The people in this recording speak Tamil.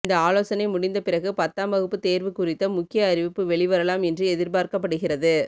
இந்த ஆலோசனை முடிந்த பிறகு பத்தாம் வகுப்பு தேர்வு குறித்த முக்கிய அறிவிப்பு வெளிவரலாம் என்று எதிர்பார்க்கப்படுகிறது